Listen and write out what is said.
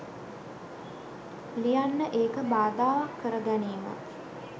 ලියන්න ඒක බාධාවක් කර ගැනීම